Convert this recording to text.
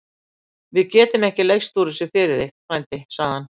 Við getum ekki leyst úr þessu fyrir þig, frændi segir hann.